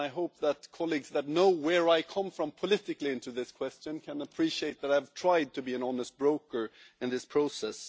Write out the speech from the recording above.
I hope that colleagues who know where I come from politically on this question can appreciate that I have tried to be an honest broker in this process.